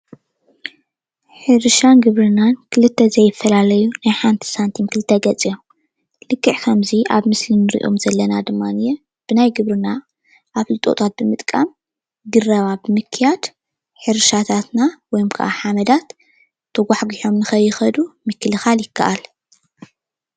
ሕርሻን ግብርናን ክልተ ዘይፈላለዩ ናይ ሓንቲ ሳንቲም ክልተ ገፅ እዮም፡፡ ልክዕ ከምዚ ኣብ ምስሊ እንሪኦም ዘለና ድማ ብናይ ግብርና ኣፍልጦ ብምጥቃም ግራባት ብምክያድ ሕርሻታትና ወይ ከዓ ሓመዳት ተጓሕጊሖም ንከይከዱ ምክልካል ይካእል፡፡